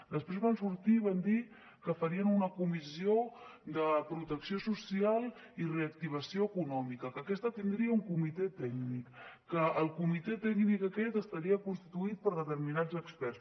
després van sortir i van dir que farien una comissió de protecció social i reactivació econòmica que aquesta tindria un comitè tècnic que el comitè tècnic aquest estaria constituït per determinats experts